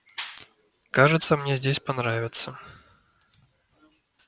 кажется мне здесь понравится